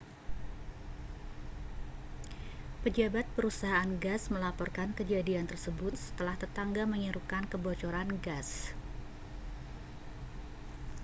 pejabat perusahaan gas melaporkan kejadian tersebut setelah tetangga menyerukan kebocoran gas